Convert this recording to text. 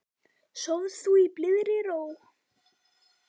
Sof þú í blíðri ró.